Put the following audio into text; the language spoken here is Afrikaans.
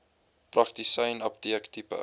praktisyn apteek tipe